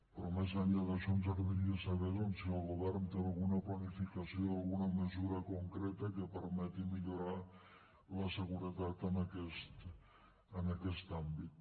però més enllà d’això ens agradaria saber si el govern té alguna planificació alguna mesura concreta que permeti millorar la seguretat en aquest àmbit